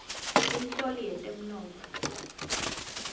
inhloli yetemnotfo